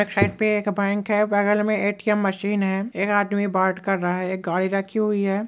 Side पर एक bank है बगल में ए.टी.एम मशीन है एक आदमी बात कर रहा है एक गाड़ी रखी हुई है।